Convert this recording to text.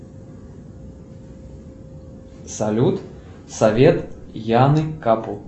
салют совет яны капу